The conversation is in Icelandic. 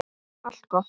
Allt gott.